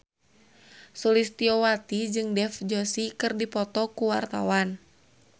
Sulistyowati jeung Dev Joshi keur dipoto ku wartawan